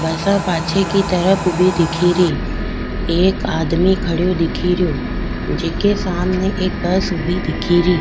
Bus पाछे की तरफ ऊबी दिखेरी एक आदमी खडियो दिखरियो जीके सामने एक बस ऊबी दिखेरी।